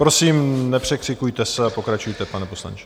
Prosím, nepřekřikujte se a pokračujte, pane poslanče.